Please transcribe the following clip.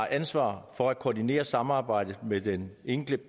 ansvaret for at koordinere samarbejdet mellem den enkelte